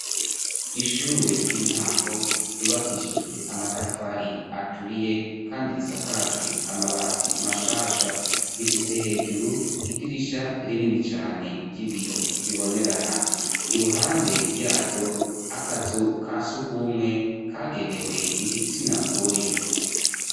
ishure ry'intango yubakishijwe amatafari aturiye kandi risakajwe amabati mashasha rifise hejuru idirisha rinini cane ry'ibiyo bibonerana iruhande yaryo akazu kasugumwe kagenewe igitsina gore